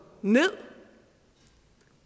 ned